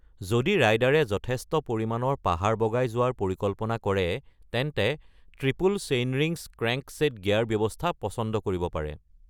যদি ৰাইডাৰে যথেষ্ট পৰিমাণৰ পাহাৰ বগাই যোৱাৰ পৰিকল্পনা কৰে, তেন্তে ট্ৰিপল-চেইনৰিংছ ক্ৰেংকছেট গিয়াৰ ব্যৱস্থা পছন্দ কৰিব পাৰে।